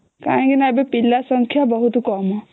କାଇଁକି ନ ଏବେ ପିଲା ସଂଖ୍ୟା ବହୁତ କମ